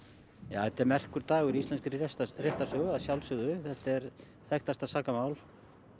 já þetta er merkur dagur í íslenskri réttarsögu að sjálfsögðu þetta er þekktasta sakamál